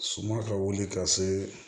Suma ka wili ka se